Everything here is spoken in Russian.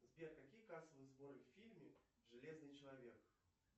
сбер какие кассовые сборы в фильме железный человек